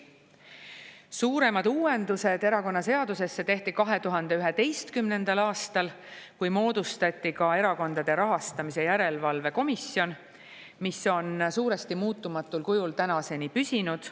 Suuremad uuendused erakonnaseadusesse tehti 2011. aastal, kui moodustati ka Erakondade Rahastamise Järelevalve Komisjon, mis on suuresti muutumatul kujul tänaseni püsinud.